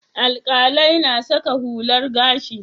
Alƙalai na saka hular gashi.